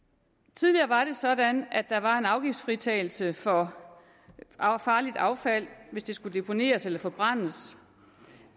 tidligere var det sådan at der var en afgiftsfritagelse for farligt affald hvis det skulle deponeres eller forbrændes